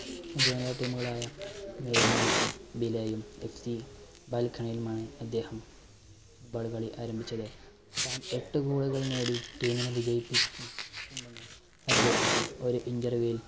junior team കളായ നിർമി ബിലയും, എഫ് സി ബാൽക്കണയുമായി അദ്ദേഹം football കളി ആരംഭിച്ചത്. താൻ എട്ട് goal കൾ നേടി team നെ വിജയിപ്പി~ച്ചി~ട്ടുണ്ടെന്ന് അദ്ദേഹം ഒരു interview ൽ